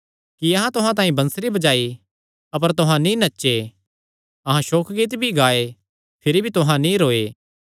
कि अहां तुहां तांई बंसरी बजाई अपर तुहां नीं नचे अहां सोकगीत भी गाऐ भिरी भी तुहां नीं रोये